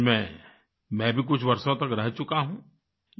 चंडीगढ़ में मैं भी कुछ वर्षों तक रह चुका हूँ